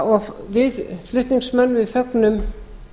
og við flutningsmenn fögnum